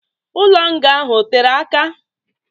Ụlọ nga ahụ ọ tere aka?